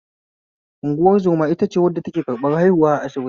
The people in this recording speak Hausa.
Unguwar zoma itace wadda ake karɓan haihuwa a asibiti